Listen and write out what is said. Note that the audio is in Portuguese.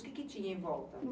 O que tinha em volta?